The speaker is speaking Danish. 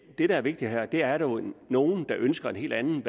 det der er vigtigt her er at der er nogle nogle der ønsker en helt anden